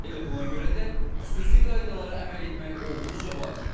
Elə buna görə də xüsusi qaydalara əməl etmək olduqca vacibdir.